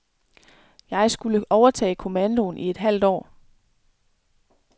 Jeg skulle overtage kommandoen i et halvt år.